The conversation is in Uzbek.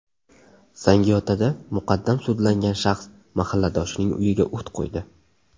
Zangiotada muqaddam sudlangan shaxs mahalladoshining uyiga o‘t qo‘ydi.